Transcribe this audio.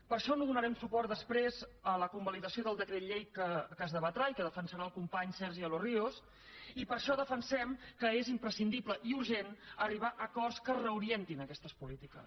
per això no donarem suport després a la convalidació del decret llei que es debatrà i que defensarà el company sergi de los ríos i per això defensem que és imprescindible i urgent arribar a acords que reorientin aquestes polítiques